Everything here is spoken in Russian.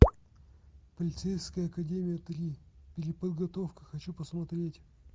полицейская академия три переподготовка хочу посмотреть